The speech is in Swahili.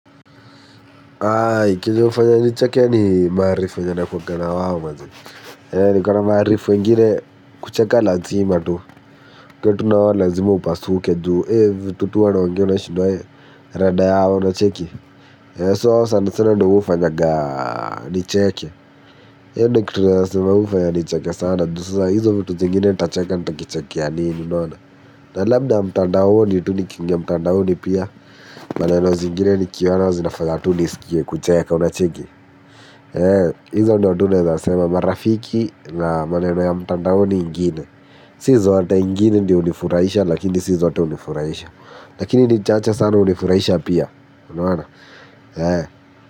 Mwafanya ni chake ni maharifu wengene kucheka lantzima tu. Kwa tunawa lazima upasuke juhu ee vitutu wana wangyo na shudu wae randa yao una cheki So wana wafanya ni cheke Yende kutu na wafanya ni cheke sana. Duzusa hizo vitu zingine tacheka nita kichake ya nini. Na labda mtandaoni tu nikiingia mtandaoni pia. Maneno zingine ni kiyo wana wazinafagatu nisikie kucheka unacheki. Izo ndi wadune za sema marafiki na maneno ya mtandaoni ingine. Sizi wate ingine ndi unifuraisha lakini sizi wate unifuraisha. Lakini ndi chacha sana unifuraisha pia. Unaona.